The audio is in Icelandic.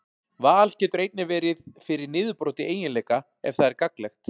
Val getur einnig verið fyrir niðurbroti eiginleika ef það er gagnlegt.